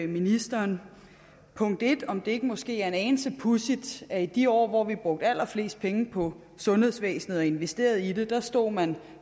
ministeren om det ikke måske er en anelse pudsigt at i de år hvor vi brugte allerflest penge på sundhedsvæsenet og investerede i det stod man